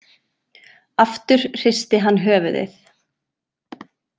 Aftur hristi hann höfuðið.